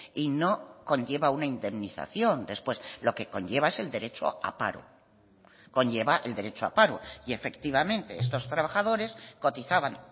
y no conlleva una indemnización después lo que conlleva es el derecho a paro conlleva el derecho a paro y efectivamente estos trabajadores cotizaban